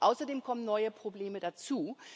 Außerdem kommen neue Probleme dazu.